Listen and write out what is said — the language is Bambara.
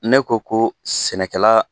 Ne ko ko sɛnɛkɛla